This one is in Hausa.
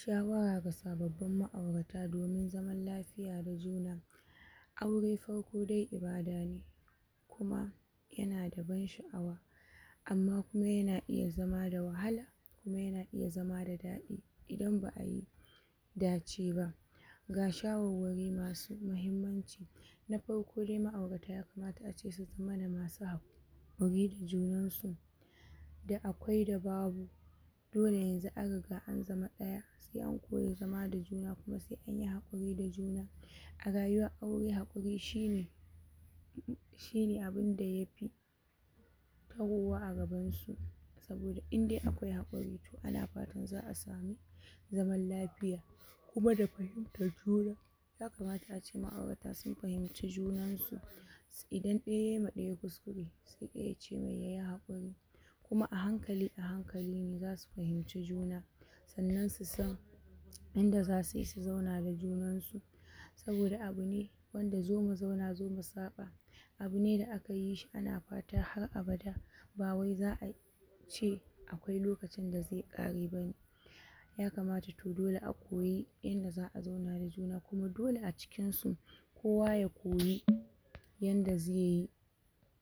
Shawara ga sababbin ma'aurata domin zaman lafiya da juna, aure farko dai ibada ne kuma yana da ban sha'awa amma kuma yana iya zama da wahala kuma yana iya zama da daɗin ba'ayi dace ba, ga shawarwari masu mahimmanci: Na farko de ma'aurata yakamata su zamana masu haƙuri da junansu, da akwai da babu, dole yanzu an riga an zama ɗaya se an koyi zama da juna kuma se anyi haƙuri da juna, a rayuwa'aure haƙuri shine shine abinda yafi tarowa a gabansu, saboda inde akwai haƙuri to ana fatan za'a sami zaman lafiya kuma da fahimj juna, yakamata ace ma'aurata sin fahimci juansu, idan ɗaya yai ma ɗaya kuskure se ɗaya yace mai yayi haƙuri, kuma a hankali a hankali ne zasu fahimci juna, sannan su san yanda zasi si zauna da junansu, saboda abu ne wanda zo mu zauna zo mu saɓa, abu ne da aka yi shi ana fata har abada ba wai za'a ce akwai lokacin da ze ƙare bane, yakamata to dole a koyi yanda za'a zauna da juna kuma dole a cikin su kowa ya koyi yanda zeyi